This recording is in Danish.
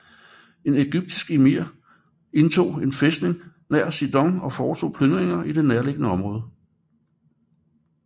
En egyptisk emir indtog en fæstning nær Sidon og foretog plyndringer i det nærliggende område